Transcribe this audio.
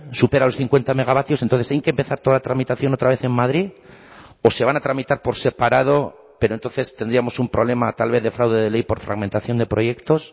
supera los cincuenta megavatios entonces hay que empezar toda la tramitación otra vez en madrid o se van a tramitar por separado pero entonces tendríamos un problema tal vez de fraude de ley por fragmentación de proyectos